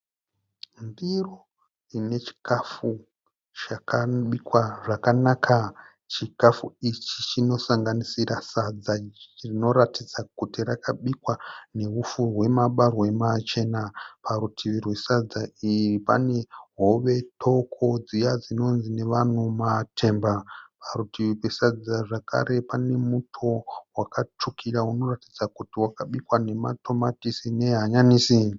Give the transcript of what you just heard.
Ndiro ine chikafu chakabikwa zvakanaka. Chikafu ichi chinosanganisira sadza rinoratidza kuti rakabikwa nehupfu hwemabahwe machena. Parutivi rwesadza iri pane hove doko dziya dzinonzi nevanhu matemba. Padivi zvakare pane muto wakatsvukira unoratidza kuti wakabikwa nematomatisi nehanyanisi.